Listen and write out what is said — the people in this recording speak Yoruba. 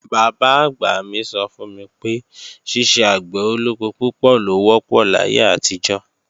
Bàbá-àgbà mí sọ fún mi pé, ṣiṣẹ́ àgbẹ̀ olóko púpọ̀ ló wọ́pọ̀ láyé àtijọ́